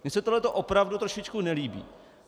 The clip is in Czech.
Mně se tohleto opravdu trošičku nelíbí.